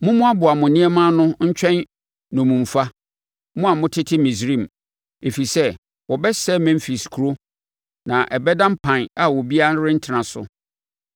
Mommoaboa mo nneɛma ano ntwɛn nnommumfa, mo a motete Misraim, ɛfiri sɛ wɔbɛsɛe Memfis kuro na ɛbɛda mpan a obiara rentena so.